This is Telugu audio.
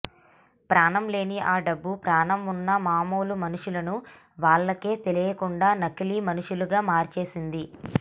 ప్రాణం లేని ఆ డబ్బు ప్రాణం ఉన్న మామూలు మనుషులను వాళ్ళకే తెలియకుండా నకిలీ మనుషులుగా మార్చేసింది